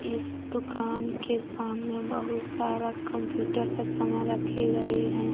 इस दुकान के सामने बहुत सारा कंप्यूटर का सामान रखे गए हैं।